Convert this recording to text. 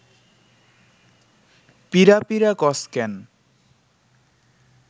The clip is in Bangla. পিঁড়া পিঁড়া কস ক্যান